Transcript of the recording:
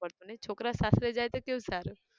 પડતું નઈ! છોકરા સાસરે જાય તો કેવું સારું